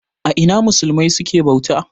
A ina musulmai suke bauta?